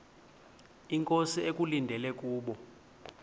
inkosi ekulindele kubo